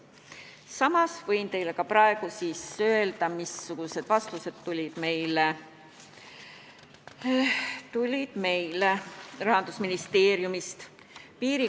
Samas võin teile praegu öelda, missugused vastused meile Rahandusministeeriumist tulid.